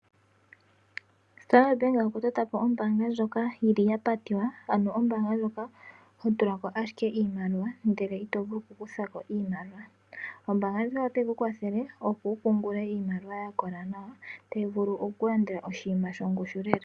Standard bank okwa totapo ombanga ndjoka yili yapatiwa ano ombanga ndjoka hotulako ashike iimaliwa ndele itovulu oku kuthako iimaliwa, ombanga ndjika otayi kukwathele opo wupungule iimaliwa yakola nawa tayi vulu okulanda oshinima shongushu lela.